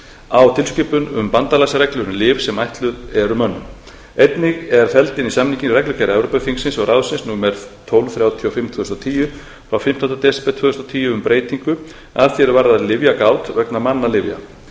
á tilskipun um bandalagsreglur um lyf sem eru ætluð eru mönnum einnig er felld inn í samninginn reglugerð evrópuþingsins og ráðsins númer tólf þrjátíu og fimm tvö þúsund og tíu frá fimmtánda desember tvö þúsund og tíu um breytingu að því er varðar lyfjagát vegna mannalyfja